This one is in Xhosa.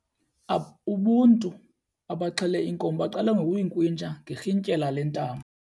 Ubuntu abaxhele inkomo baqale ngokuyinkrwintsha ngerhintyela lentambo.